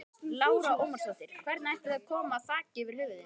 Lára Ómarsdóttir: Hvernig ætið þið að koma þaki yfir höfuðið?